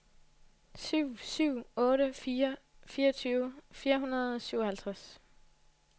syv syv otte fire fireogtyve fire hundrede og syvoghalvtreds